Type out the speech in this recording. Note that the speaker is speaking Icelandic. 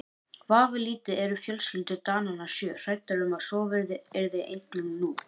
Vafalítið eru fjölskyldur Dananna sjö hræddar um að svo yrði einnig nú.